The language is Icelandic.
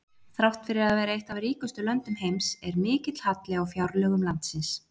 Þrátt fyrir að vera eitt af ríkustu löndum heims er mikill halli á fjárlögum landsins.